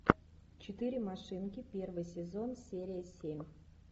четыре машинки первый сезон серия семь